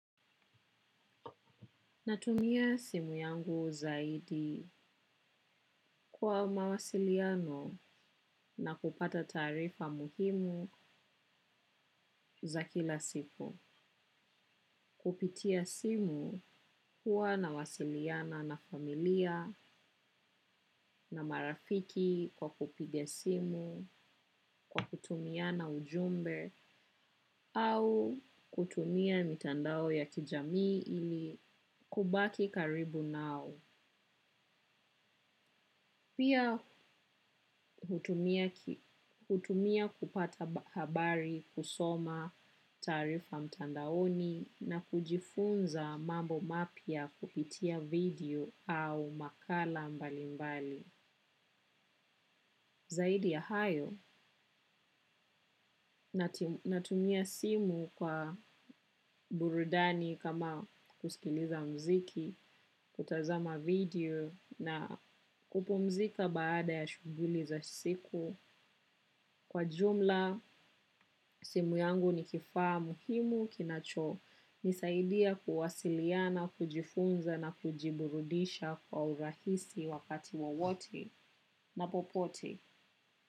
Natumia simu yangu zaidi kwa mawasiliano na kupata taarifa muhimu za kila siku. Kupitia simu huwa na wasiliana na familia na marafiki kwa kupiga simu, kwa kutumiana ujumbe au kutumia mitandao ya kijamii ili kubaki karibu nao. Pia hutumia kupata habari kusoma taarifa mtandaoni na kujifunza mambo mapya kupitia video au makala mbali mbali. Zaidi ya hayo, natumia simu kwa burudani kama kusikiliza muziki, kutazama video na kupumzika baada ya shughuli za siku. Kwa jumla, simu yangu ni kifaa muhimu kinacho. Nisaidia kuwasiliana, kujifunza na kujiburudisha kwa urahisi wakati wowote na popote.